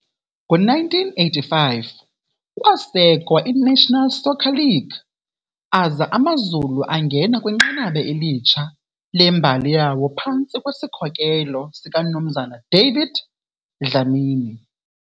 Ngo-1985 kwasekwa iNational Soccer League aza AmaZulu angena kwinqanaba elitsha lembali yawo phantsi kwesikhokelo sikaMnumzana David Dlamini.